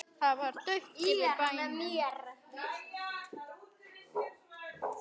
Það var dauft yfir bænum.